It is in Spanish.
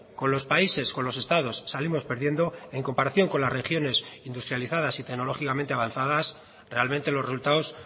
con los países con los estados salimos perdiendo en comparación con las regiones industrializadas y tecnológicamente avanzadas realmente los resultados